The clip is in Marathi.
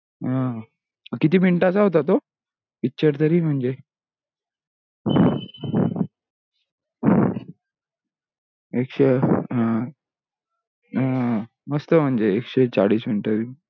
हा किती मिनटाचा होता तो picture तरी म्हणजे अं एकश अं मस्त म्हणजे एकशे चालिश मिंट